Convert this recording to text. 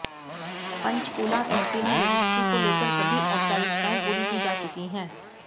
पंचकूला तहसील में रजिस्ट्री को लेकर सभी औपचारिकताएं पूरी की जा चुकी हैं